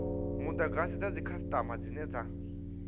mudagasi dza dzikhasitama dzine dza